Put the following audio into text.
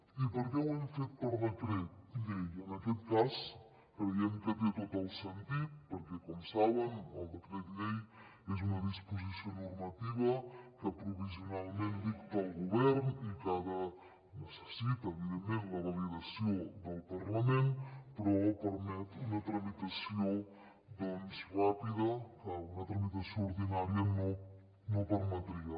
i per què ho hem fet per decret llei en aquest cas creiem que té tot el sentit perquè com saben el decret llei és una disposició normativa que provisionalment dicta el govern i que necessita evidentment la validació del parlament però permet una tramitació ràpida que una tramitació ordinària no permetria